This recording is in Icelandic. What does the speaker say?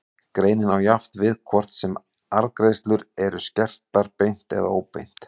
Greinin á jafnt við hvort sem arðgreiðslur eru skertar beint eða óbeint.